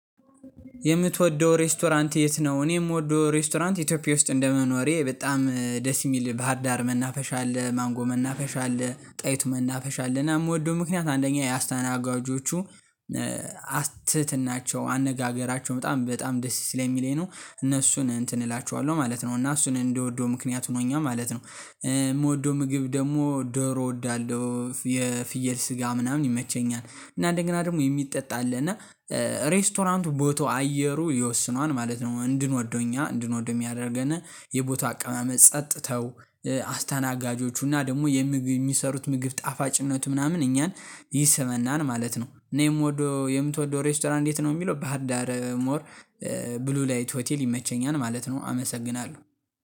የምትወደው ሬስቶራንት የት ነው? እኔ የምወደው ሬስቶራንት ኢትዮጵያ ውስጥ እንደመኖሬ በጣም ደስ የሚል ባህርዳር መናፈሻ አለ ማንጎ መናፈሻ አለ ጣይቱ መናፈሻ አለ እና የምወደው ምክንያት አንደኛ የአስተናጋጆቹ አትትናቸው አነጋገራቸው በጣም በጣም ደስ ስለሚለኝ ነው እነሱን እንትን እላቸዋለሁ ማለት ነው እና እሱን እንደወደው ምክንያት ሆኖኛል ማለት ነው የምወደው ምግብ ደግሞ ደሮ እወዳለሁ የፍየል ስጋ ምናምን እና ደግሞ የሚጠጣ አለ እና ሬስቶራንቱ ቦታው አየሩ ይወስነዋል ማለት ነው እንድንወደው እኛ እንድንወደው የሚያደርገን የቦታው አቀማመጥ ጸጥተው አስተናጋጆቹና ደግሞ የሚሰሩት ምግብ ጣፋጭነት ምናምን እኛን ይስበናል ማለት ነው እና የምወደው የምትወደው ሬስቶራንት እንዴት ነው የሚለው በሀር ዳር ሞር ብሉ ላይት ሆቴል ይመቸኛል ማለት ነው አመሰግናለሁ።